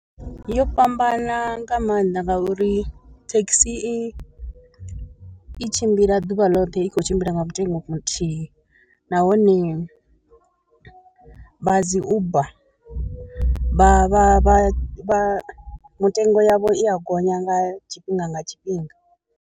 Yo fhambana nga maanḓa ngauri thekhisi i tshimbila ḓuvha ḽoṱhe i khou tshimbila nga mutengo muthihi, nahone vha dzi uber vha vha vha vha vha mutengo yavho i ya gonya nga tshifhinga nga tshifhinga.